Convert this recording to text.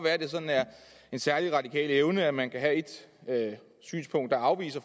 at det sådan er en særlig radikal evne at man kan have et synspunkt der afviser